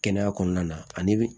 Kɛnɛya kɔnɔna na ani bi